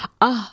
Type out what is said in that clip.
Ah,